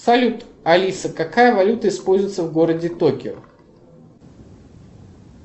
салют алиса какая валюта используется в городе токио